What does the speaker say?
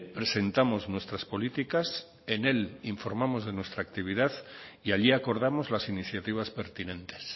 presentamos nuestras políticas en él informamos de nuestra actividad y allí acordamos las iniciativas pertinentes